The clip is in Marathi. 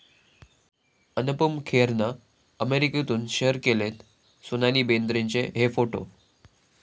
अनुपम खेरनं अमेरिकेतून शेअर केलेत सोनाली बेंद्रेचे हे फोटो